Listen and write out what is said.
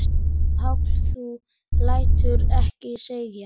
Páll: Þú lætur ekki segjast?